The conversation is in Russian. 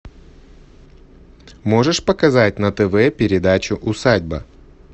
можешь показать на тв передачу усадьба